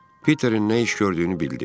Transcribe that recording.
Piterin nə iş gördüyünü bildi.